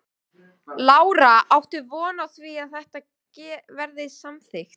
Lára: Áttu von á því að þetta verði samþykkt?